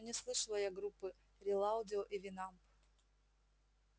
ну не слышала я группы рилаудио и винамп